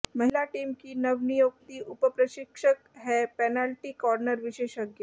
महिला टीम की नवनियुक्ति उपप्रशिक्षक है पेनाल्टी कार्नर विशेषज्ञ